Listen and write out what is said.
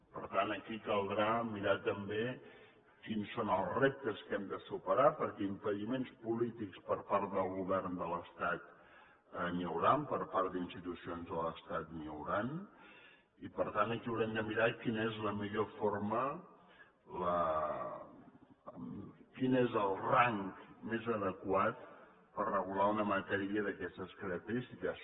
per tant aquí caldrà mirar també quins són els reptes que hem de superar perquè impediments polítics per part del govern de l’estat n’hi hauran per part d’institucions de l’estat n’hi hauran i per tant aquí haurem de mirar quina és la millor forma quin és el rang més adequat per regular una matèria d’aquestes característiques